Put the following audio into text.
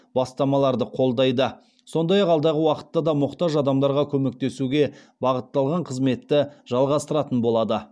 бастамаларды қолдайды сондай ақ алдағы уақытта да мұқтаж адамдарға көмектесуге бағытталған қызметті жалғастыратын болады